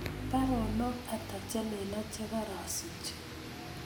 Baronok ata chelelach chegarasich